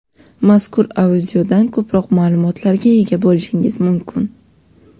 Mazkur audioda ko‘proq ma’lumotlarga ega bo‘lishingiz mumkin.